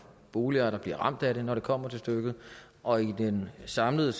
boligejere der bliver ramt af det når det kommer til stykket og i den samlede